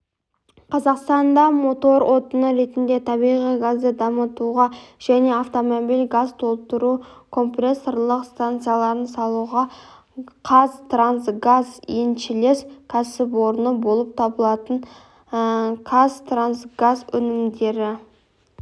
қазақстанда мотор отыны ретінде табиғи газды дамытуға және автомобиль газ толтыру компрессорлық станцияларын салуға қазтрансгаз еншілес кәсіпорны болып табылатын қазтрансгаз өнімдері